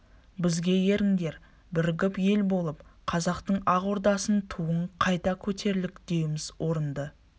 бізге еріңдер бірігіп ел болып қазақтың ақ ордасының туын қайта көтерелікдеуіміз орынды